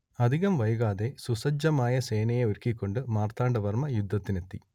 അധികം വൈകാതെ സുസജ്ജമായ സേനയെ ഒരുക്കിക്കൊണ്ട് മാർത്താണ്ടവർമ്മ യുദ്ധത്തിനെത്തി